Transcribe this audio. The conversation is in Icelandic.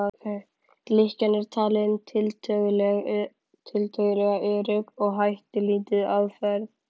Lykkjan er talin tiltölulega örugg og hættulítil aðferð.